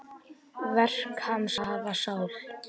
Verk hans hafa sál.